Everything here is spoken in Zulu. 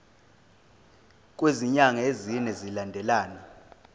kwezinyanga ezine zilandelana